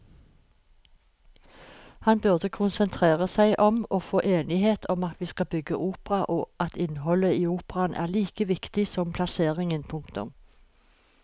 Han burde konsentrere seg om å få enighet om at vi skal bygge opera og at innholdet i operaen er like viktig som plasseringen. punktum